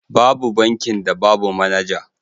Babu bankin da babu manaja.